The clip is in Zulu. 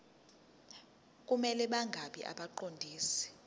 kumele bangabi ngabaqondisi